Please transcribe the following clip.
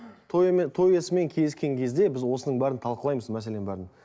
той той иесімен келіскен кезде біз осының бәрін талқылаймыз мәселенің бәрін